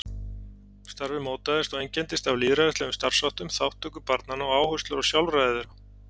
Starfið mótaðist og einkenndist af lýðræðislegum starfsháttum, þátttöku barnanna og áherslu á sjálfræði þeirra.